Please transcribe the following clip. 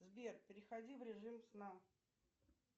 сбер переходи в режим сна